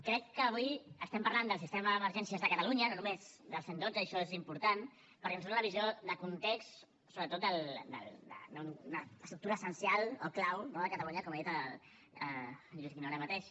crec que avui estem parlant del sistema d’emergències de catalunya no només del cent i dotze i això és important perquè ens dóna una visió de context sobretot d’una estructura essencial o clau no de catalunya com ha dit en lluís guinó ara mateix